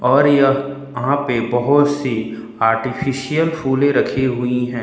और यह वहां पे बहोत सी आर्टिफिशियल फूलें रखी हुई हैं।